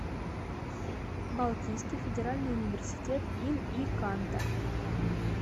балтийский федеральный университет им и канта